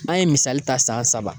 An ye misali ta saga saba